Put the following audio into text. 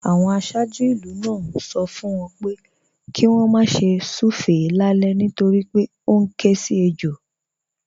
Àwọn aṣáájú ìlú náà ń sọ fún wọn pé kí wọ́n má ṣe súfèé lálẹ́ nítorí pé ó ń ké sí ejò